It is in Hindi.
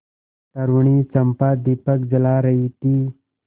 तरूणी चंपा दीपक जला रही थी